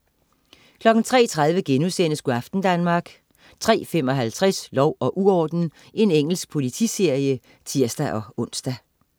03.30 Go' aften Danmark* 03.55 Lov og uorden. Engelsk politiserie (tirs-ons)